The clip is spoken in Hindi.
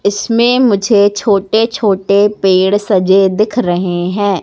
इसमें मुझे छोटे छोटे पेड़ सजे दिख रहे हैं।